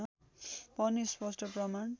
पनि स्पष्ठ प्रमाण